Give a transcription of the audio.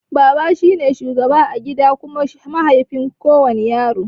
Baba shine shugaba a gida kuma mahaifi ga kowana yaro.